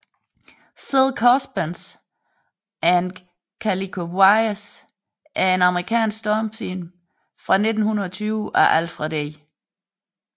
Silk Husbands and Calico Wives er en amerikansk stumfilm fra 1920 af Alfred E